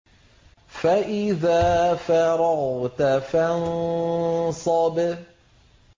فَإِذَا فَرَغْتَ فَانصَبْ